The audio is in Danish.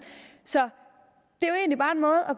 så